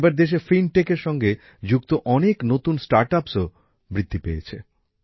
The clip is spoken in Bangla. এবার দেশে ফিনটেকের সঙ্গে যুক্ত অনেক নতুন স্টার্ট আপ্সের সংখ্যাও বৃদ্ধি পেয়েছে